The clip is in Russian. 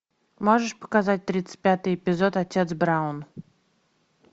можешь показать тридцать пятый эпизод отец браун